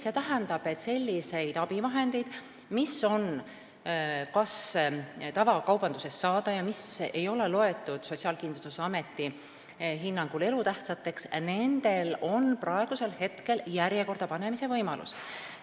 See tähendab, et selliste abivahendite puhul, mis on tavakaubanduses saadaval ja mis ei ole loetud Sotsiaalkindlustusameti hinnangul elutähtsateks, on praegu järjekorda panemise võimalus.